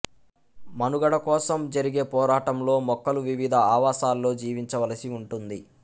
మనుగడ కోసం జరిగే పోరాటంలో మొక్కలు వివిధ ఆవాసాల్లో జీవించవలసి ఉంటుంది